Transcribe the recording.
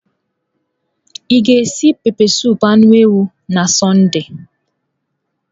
Ị ga-esi esi pepesụpụ anụ ewu na Sọnde?